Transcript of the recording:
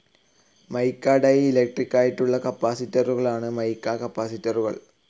മിക്ക ഡി ഇലക്ട്രിക്കായിട്ടുള്ള കപ്പാസിറ്ററുകളാണ് മിക്ക കപ്പാസിറ്ററുകൾ.